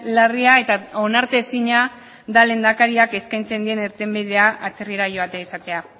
larria eta onartezina da lehendakariak eskaintzen dien irtenbidea atzerrira joatea izatea